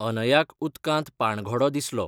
अनयाक उदकांत पाणघोडो दिसलो.